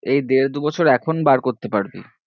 এই দেড় দু বছর এখন বার করতে পারবি